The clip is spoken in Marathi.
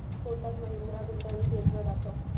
कोटक महिंद्रा गुंतवणूक योजना दाखव